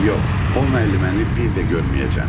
Yox, o müəlliməni bir də görməyəcəm.